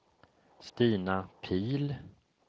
Stina Pihl